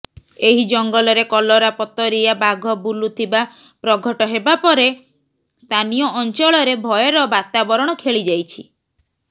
ଏହି ଜଙ୍ଗଲରେ କଲରାପତରିଆ ବାଘ ବୁଲୁଥିବା ପ୍ରଘଟ ହେବା ପରେ ସ୍ଥାନୀୟ ଅଞ୍ଚଳରେ ଭୟର ବାତାବରଣ ଖେଳି ଯାଇଛି